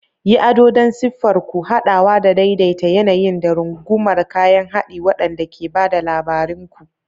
Yi ado don yaɗa siffar ku, haɗawa da daidaita yanayin, da rungumar kayan haɗi waɗanda ke ba da labarin ku.